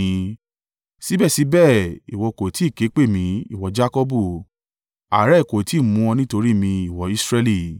“Síbẹ̀síbẹ̀ ìwọ kò tí ì ké pè mí, ìwọ Jakọbu, àárẹ̀ kò tí ì mú ọ nítorí mi ìwọ Israẹli.